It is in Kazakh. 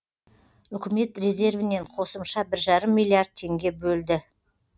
үкімет резервінен қосымша бір жарым миллиард теңге бөлді